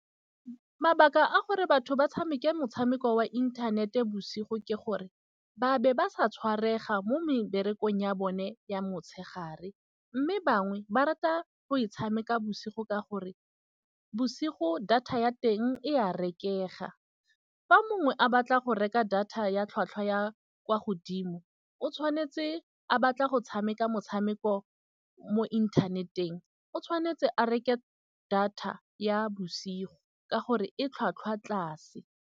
Mabaka a gore batho ba tshameke motshameko wa inthanete bosigo ke gore, ba be ba sa tshwarega mo meberekong ya bone ya motshegare. Mme bangwe ba rata go e tshameka bosigo ka gore bosigo data ya teng e a rekega. Fa mongwe a batla go reka data ya tlhwatlhwa ya kwa godimo, o tshwanetse a batla go tshameka motshameko mo inthaneteng. O tshwanetse a reke data ya bosigo ka gore e tlhwatlhwa tlase.